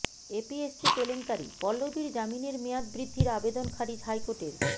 APS-C কেলেংকারিঃ পল্লবীর জামিনের মেয়াদ বৃদ্ধির আবেদন খারিজ হাইকোর্টের